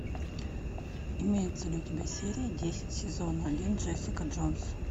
имеется ли у тебя серия десять сезон один джессика джонс